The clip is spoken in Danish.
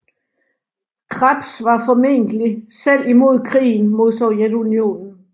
Krebs var formentlig selv imod krigen med Sovjetunionen